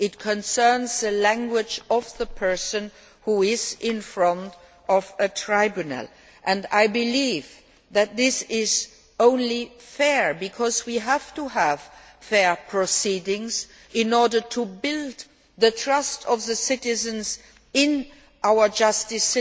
It concerns the language of the person who is in front of a tribunal. I believe that this is only fair because we have to have fair proceedings in order to build the trust of the citizens in our justice